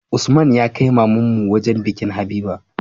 Usman ya kai mamanmu wajan bikin habiba